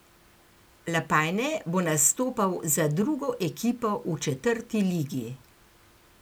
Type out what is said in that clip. Lapajne bo nastopal za drugo ekipo v četrti ligi.